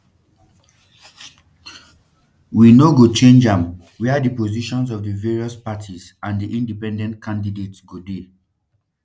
we no go change am wia di positions of di various parties and di independent candidates go dey